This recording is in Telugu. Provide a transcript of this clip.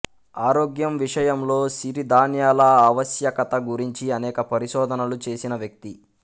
ఆరోగ్యం విషయంలో సిరిధాన్యాల ఆవశ్యకత గురించి అనేక పరిశోధనలు చేసిన వ్యక్తి